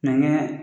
Nɛgɛ